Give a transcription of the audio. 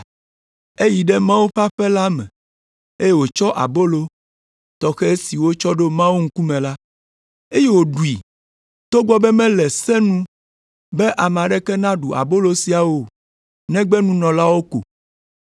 Eyi ɖe Mawu ƒe aƒe la me, eye wòtsɔ abolo tɔxɛ si wotsɔ ɖo Mawu ŋkume la, eye wòɖui, togbɔ be mele se nu be ame aɖeke naɖu abolo sia o negbe nunɔlawo ko.”